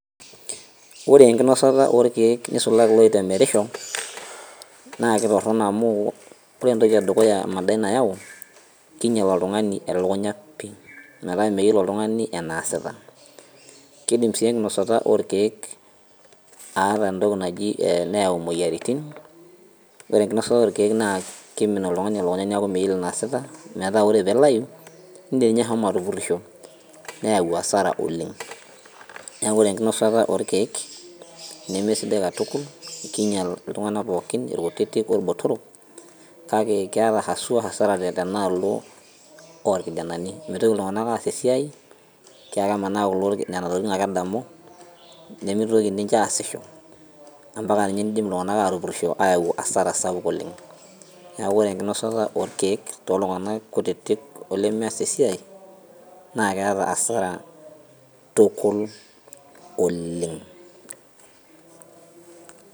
Ore enkinosata orkeek nisulaki loitemerisho naa kitorrono amu ore entoki edukuya emadai nayau kinyial oltung'ani elukunya pii metaa meyiolo oltung'ani enaasita kidim sii enkinosata orkeek aata entoki naji neyau imoyiaritin ore enkinosata orkeek naa kimin oltung'ani elukunya niaku meyiolo enaasita metaa ore pilayu indim ninye ashomo atupurrisho neyau asara oleng niaku ore enkinosata orkeek nemesidai katukul kinyial iltung'anak pookin irkutitik orbotorok kake keeta haswa hasara tenaalo olkijanani mitoki iltung'anak aas esiai kiaku kemanaa kulo nena tokitin ake edamu nemitoki ninche aasisho ampaka ninye nidim iltung'anak atupurrisho ayau asara sapuk oleng niaku ore enkinosata orkeek toltung'anak kutitik olemeas esiai naa keeta asara tukul oleng.